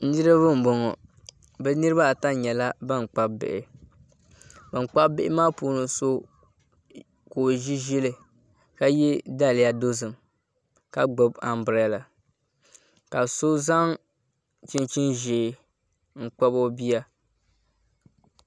Niraba n bɔŋɔ ni niraba ata nyɛla ban kpabi bihi ban kpabi bihi maa puuni so ka o ʒi ʒili ka yɛ daliya dozim ka gbubi anbirɛla ka so zaŋ chinchin ʒiɛ n kpabi o bia